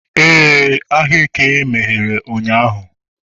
ee, eke ahịa meghere ụnyahụ